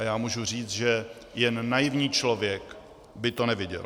A já mohu říci, že jen naivní člověk by to neviděl.